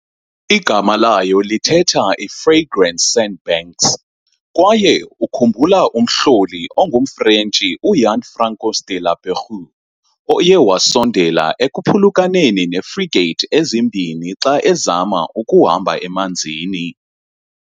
Igama layo lithetha "i-frigate sandbanks " kwaye ukhumbula umhloli ongumFrentshi uJean-François de La Pérouse oye wasondela ekuphulukaneni neefrigate ezimbini xa ezama ukuhamba emanzini.